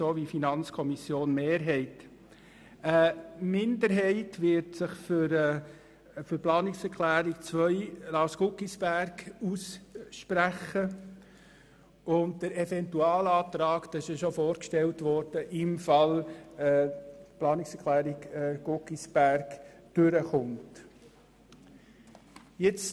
Eine Minderheit wird sich für die Planungserklärung 2 von Lars Guggisberg aussprechen und – wie bereits vorgestellt – für den Eventualantrag, sofern die Planungserklärung Guggisberg angenommen wird.